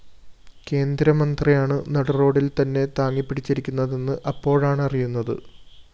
കേന്ദ്രമന്ത്രിയാണ് നടുറോഡിൽ തന്നെ താങ്ങിപിടിച്ചിരിക്കുന്നതെന്ന് അപ്പോഴാണറിയുന്നത്